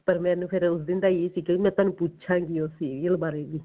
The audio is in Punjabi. ਪਰ ਮੈਨੂੰ ਫੇਰ ਉਸ ਦਿਨ ਦਾ ਈ ਇਹ ਸੀਗਾ ਕਿ ਮੈਂ ਤੁਹਾਨੂੰ ਪੁੱਛਾਗੀ ਉਹ serial ਬਾਰੇ ਵੀ